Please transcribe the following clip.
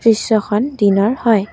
দৃশ্যখন দিনৰ হয়।